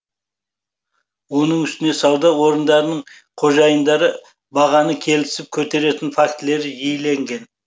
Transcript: оның үстіне сауда орындарының қожайындары бағаны келісіп көтеретін фактілері жиілеген